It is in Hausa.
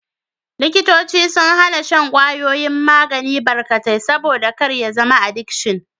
Likitoci sun hana shan kwayoyin magani barkatai, saboda kar ya zama adikshin.